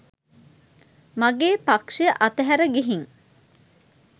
මගේ පක්ෂය අතහැර ගිහින්